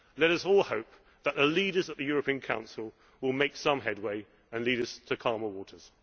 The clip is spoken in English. crisis. Let us all hope that the leaders at the European Council will make some headway and lead us to calmer waters.